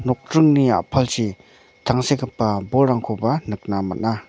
nokdringni a·palchi tangsekgipa bolrangkoba nikna man·a.